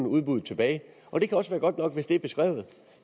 udbuddet tilbage og det kan også være godt nok hvis det er beskrevet